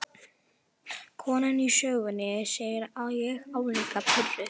Konan í sögunni, segi ég álíka pirruð.